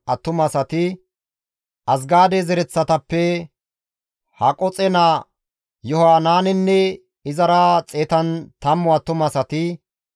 Azgaade zereththatappe Haqoxe naa Yohanaanenne izara 110 attumasati,